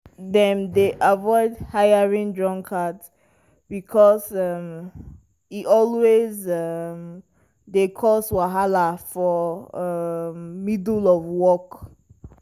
dem dey avoid hiring drunkards because um e always um dey cause wahala for um middle of work.